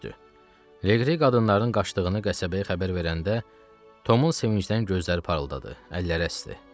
Liqri qadınların qaçdığını qəsəbəyə xəbər verəndə Tomun sevincdən gözləri parıldadı, əlləri əsdi.